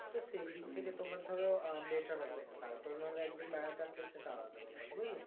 তো সেইদিক থেকে তোমার ধরো আহ better হবে তারপরে না হলে একদিন বেড়াতে আসলে সেটা আলাদা ব্যাপার বুঝলে